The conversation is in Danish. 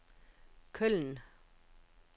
Køln